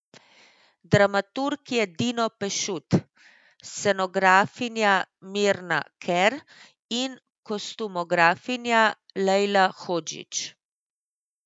Dramaturg je Dino Pešut, scenografinja Mirna Ker in kostumografinja Lejla Hodžić.